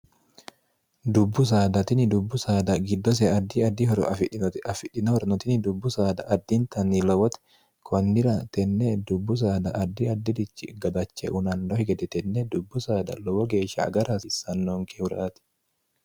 dubbu saadatini dubbu saada giddose addi addihoro afidhinote afidhino hornotini dubbu saada addintanni lowote konnira tenne dubbu saada addi addirichi gadache unanno higede tenne dubbu saada lowo geeshsha agara haasiissannonke huraati